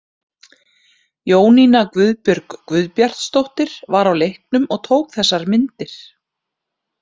Jónína Guðbjörg Guðbjartsdóttir var á leiknum og tók þessar myndir.